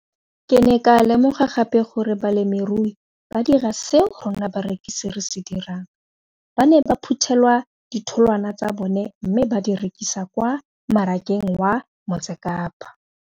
Ke ne ka lemoga gape gore balemirui ba dira seo rona barekisi re se dirang ba ne ba phuthela ditholwana tsa bona mme ba di rekisa kwa marakeng wa Motsekapa.